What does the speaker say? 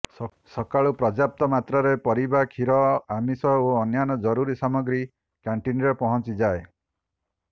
ସକାଳୁ ପର୍ଯ୍ୟାପ୍ତ ମାତ୍ରାରେ ପରିବା କ୍ଷୀର ଆମିଷ ଓ ଅନ୍ୟ ଜରୁରୀ ସାମଗ୍ରୀ କ୍ୟାଣ୍ଟିନରେ ପହଞ୍ଚିଯାଏ